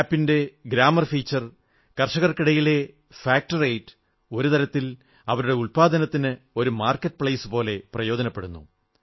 app ന്റെ grammar feature കർഷകർക്കിടയിലെ fact rate ഒരു തരത്തിൽ അവരുടെ ഉൽപ്പന്നത്തിന് ഒരു വിപണി എന്ന പോലെ പ്രയോജനപ്പെടുന്നു